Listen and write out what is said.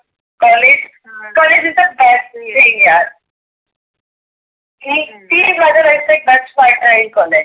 College college is the best thing यार. हे तीम माझे best part राहील आहे.